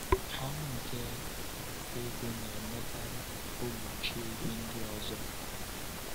Ọṅụ nke inweta ego na-emekarị ka ọ gbochie ihe ndị ọzọ.